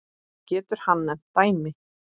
Getur hann nefnt dæmi?